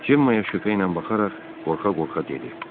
Cemma şübhə ilə baxaraq, qorxa-qorxa dedi: